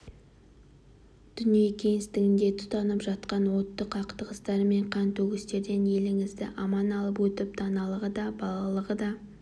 дүние кеңістігінде тұтанып жатқан отты қақтығыстар мен қантөгістерден еліңізді аман алып өтіп даналығы да балалығы да